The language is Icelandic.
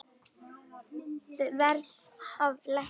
Verð hafi lækkað milli ára.